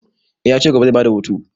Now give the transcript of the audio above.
Eh ya ce gobe zai ba da hutu.